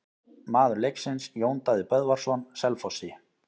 Maður leiksins: Jón Daði Böðvarsson Selfossi.